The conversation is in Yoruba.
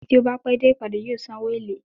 Ẹni tí ó bá pẹ́ dé ìpàdé yóò san owó èlé.